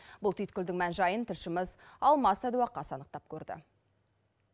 бұл түйткілдің мән жайын тілшіміз алмас садуақас анықтап көрді